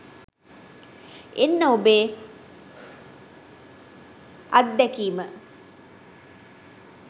එන්න ඔබේ අත්දැකීම